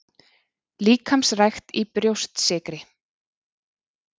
Líkamsrækt í Brjóstsykri